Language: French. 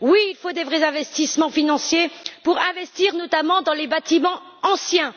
Oui, il faut de vrais investissements financiers pour investir, notamment, dans les bâtiments anciens.